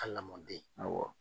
A lamɔden.